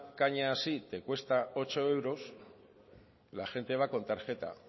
caña así te cuesta ocho euros la gente va con tarjeta